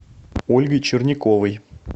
ольгой черняковой